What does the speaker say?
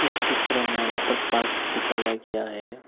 इस चित्र में वाटर पार्क दिखाया गया है।